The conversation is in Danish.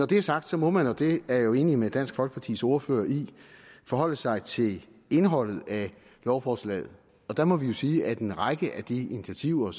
det er sagt må man og det er jeg jo enig med dansk folkepartis ordfører i forholde sig til indholdet af lovforslaget der må vi jo sige at en række af de initiativer